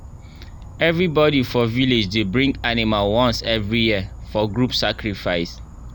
everybody for village dey bring animal once every year for group sacrifice.